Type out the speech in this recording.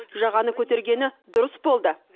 жағаны көтергені дұрыс болды